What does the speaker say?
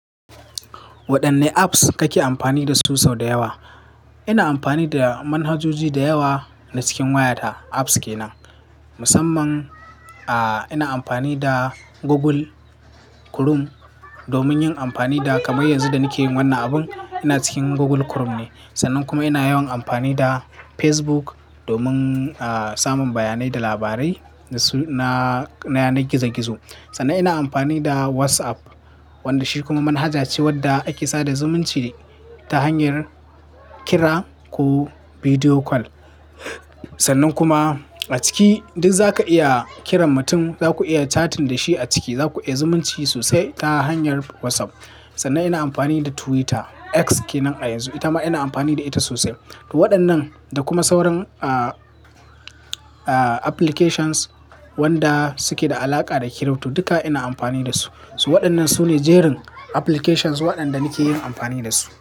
Waɗanne apps kake amfani dasu sau da yawa? Ina amfani da manhajoji da yawa na cikin wayata, apps ke nan. Musamman, ina amfani da Google Chrome domin yin amfani da kamar yanzu da nake yin wannan abun ina cikin Google Chrome ne. Sannan kuma ina yawan amfani da Facebook domin, samun bayanai da labarai na, na yanar gizo-gizo. Sannan ina amfani da WhatsApp wanda shi kuma manhaja ce wadda ake sada zumunci ta hanyar kira ko bideo call. Sannan kuma a ciki duk zaka iya kiran mutum, zaku iya chatting da shi a ciki, zaku iya zumunci sosai ta hanyar WhatsApp. Sannan ina amfani da Twitter, X kenan a yanzu, ita ma ina amfani da ita sosai. To waɗannan da kuma sauran, applications wanda suke da alaƙa da kiripto duka ina amfani dasu. Su waɗannan su ne jerin applications waɗanda na ke yin amfani da su.